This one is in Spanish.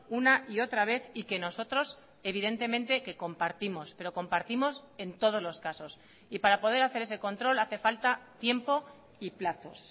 una y otra vez y que nosotros evidentemente que compartimos pero compartimos en todos los casos y para poder hacer ese control hace falta tiempo y plazos